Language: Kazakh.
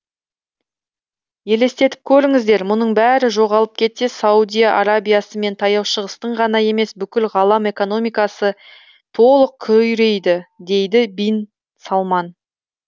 елестетіп көріңіздер мұның бәрі жоғалып кетсе саудия арабиясы мен таяу шығыстың ғана емес бүкіл ғалам экономикасы толық күйрейді дейді бин салман